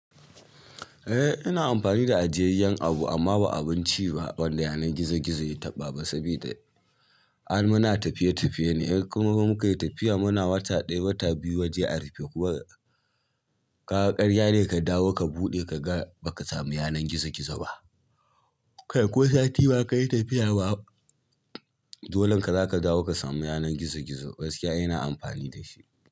Eh ina amfani da ajiyayyen abu amma ba abinci ba wanda yanar gizo gizo ya taɓa ba saboda ai muna tafiye tafiye ne. In kuma fa muka yi tafiya muna wata ɗaya wata biyu waje a rufe. Kuma kaga ƙarya ne ka dawo ka buɗe ka ga baka samu yanar gizo gizo ba. Ko sati ba ka yi tafiya ba, dolanka zaka dawo ka samu yanar gizo gizo. Gaskiya ina amfani da shi.